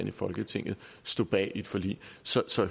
i folketinget stod bag i et forlig så så